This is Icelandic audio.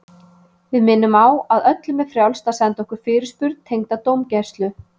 Við minnum á að öllum er frjálst að senda okkur fyrirspurn tengda dómgæslu.